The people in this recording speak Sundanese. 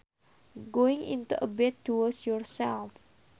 Going into a bath to wash yourself